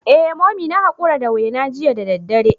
Eh Mummy na hakura da wena jiya da daddare.